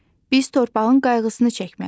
Biz torpağın qayğısını çəkməliyik.